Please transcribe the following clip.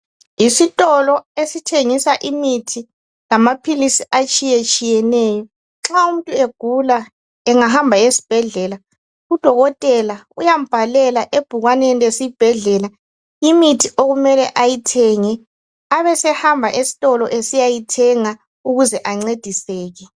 Yisitolo esithengisa imithi lamaphilisi atshiyatshiyeneyo. Nxa umuntu egula engahamba esibhedlela udokotela uyambhalela ebhukaneni lesibhedlela imithi okumela ayithenge abesehamba esitolo esiyayithenga ukuze ancediseke.